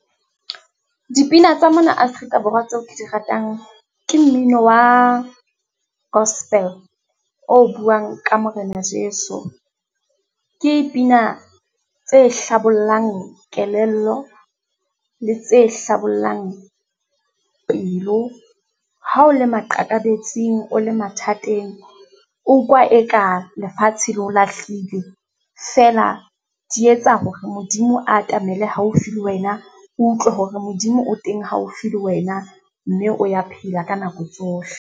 Dipina tsa mona Afrika Borwa tseo ke di ratang ke mmino wa gospel, o buang ka Morena Jeso. Ke pina tse hlabollang kelello, le tse hlabollang pelo. Ha o le maqakabetsing, o le mathateng, o utlwa e ka lefatshe le o lahlile, feela di etsa hore Modimo a atamela haufi le wena, o utlwe hore Modimo o teng haufi le wena, mme o ya phela ka nako tsohle.